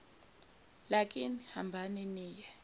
lakini hambani niye